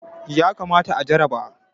yakamata a jarraba